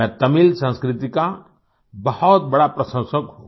मैं तमिल संस्कृति का बहुत बड़ा प्रशंसक हूँ